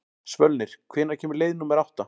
Svölnir, hvenær kemur leið númer átta?